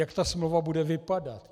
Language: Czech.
Jak ta smlouva bude vypadat?